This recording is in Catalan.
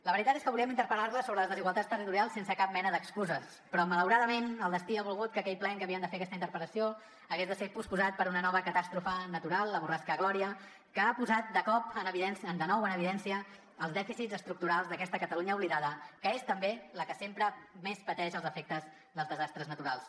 la veritat és que volíem interpel·lar la sobre les desigualtats territorials sense cap mena d’excuses però malauradament el destí ha volgut que aquell ple en què havíem de fer aquesta interpel·lació hagués de ser posposat per una nova catàstrofe natural la borrasca gloria que ha posat de nou en evidència els dèficits estructurals d’aquesta catalunya oblidada que és també la que sempre més pateix els efectes dels desastres naturals